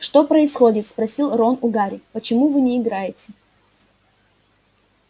что происходит спросил рон у гарри почему вы не играете